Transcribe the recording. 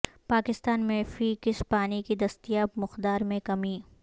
پاکستان میں فی کس پانی کی دستیاب مقدار میں کمی